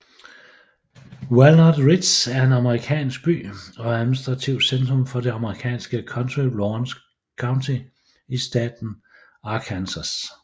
Walnut Ridge er en amerikansk by og administrativt centrum for det amerikanske county Lawrence County i staten Arkansas